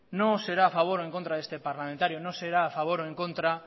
no será a favor o en contra de este parlamentario no será a favor o en contra